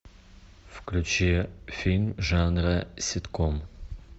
включи фильм жанра ситком